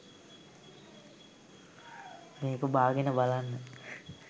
මේක බාගෙන බලන්න